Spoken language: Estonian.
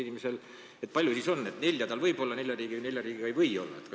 Kuidas siis asi peaks olema: näiteks nelja riigiga võib olla ja nelja riigiga ei või olla?